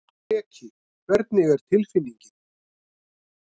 Breki: Hvernig er tilfinningin?